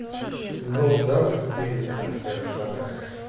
ну да только ты в тех же штатах